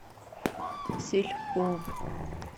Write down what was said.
сельпо